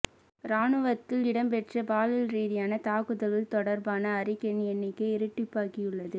இராணுவத்தில் இடம்பெற்ற பாலியல் ரீதியான தாக்குதல்கள் தொடர்பான அறிக்கையின் எண்ணிக்கை இரட்டிப்பாகியுள்ள